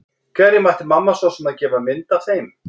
Hverjum ætti mamma svo sem að gefa mynd af þeim?